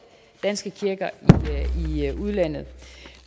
danske kirker i udlandet